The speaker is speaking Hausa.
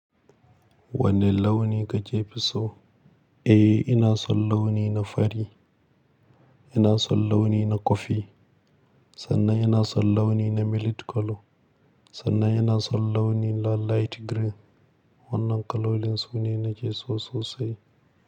Wanne launi kake fi so? Eh, ina son launi na fari, ina son launi na kofi, sannan ina son launi na milit colour, sannan ina son launi na light green. Wannan kalolin sune nake so sosai.